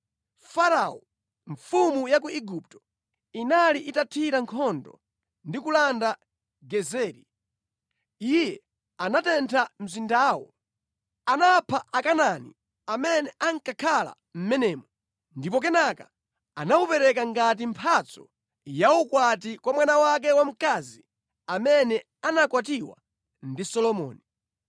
(Farao mfumu ya ku Igupto inali itathira nkhondo ndi kulanda Gezeri. Iye anatentha mzindawo. Anapha Akanaani amene ankakhala mʼmenemo ndipo kenaka anawupereka ngati mphatso yaukwati kwa mwana wake wamkazi amene anakwatiwa ndi Solomoni.